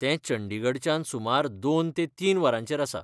तें चंडीगढच्यान सुमार दोन ते तीन वरांचेर आसा.